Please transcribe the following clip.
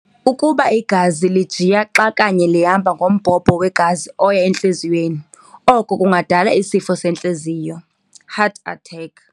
Ukuba igazi lijiya xa kanye lihamba ngombhobho wegazi oya entliziyweni, oko kungadala isifo sentliziyo, heart attack.